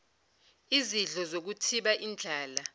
izidlo zokuthiba indlala